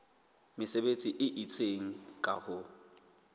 mesebetsi e itseng ka ho